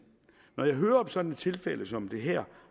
når jeg hører om sådan et tilfælde som det her